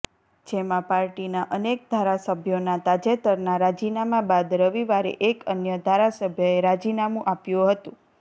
જેમાં પાર્ટીના અનેક ધારાસભ્યોના તાજેતરના રાજીનામા બાદ રવિવારે એક અન્ય ધારાસભ્યએ રાજીનામું આપ્યું હતું